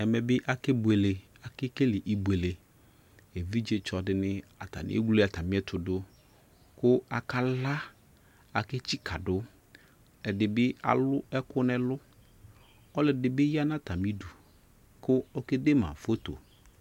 ɛmɛ be ake buele, ake kele ibuele Evidzetsɔ de ne atane ewle atane ɛto do ko aka la, ake tsika do Ɛde be alu ɛku nɛlu Ɔlɛde be ya na atane du ko ɔkede ma foto